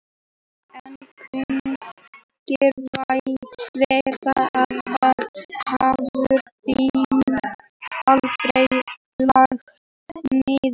En kunnugir vita að þar hefur byggð aldrei lagst niður.